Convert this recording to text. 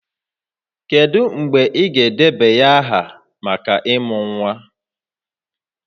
Kedu mgbe ị ga-edebanye aha maka ịmụ nwa?